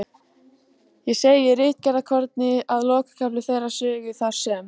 Ég segi í ritgerðarkorni, að lokakafli þeirrar sögu, þar sem